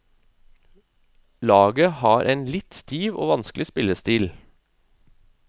Laget har en litt stiv og vanskelig spillestil.